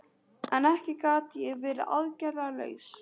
En ekki gat ég verið aðgerðalaus.